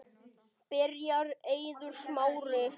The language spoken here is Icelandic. Byrjar Eiður Smári?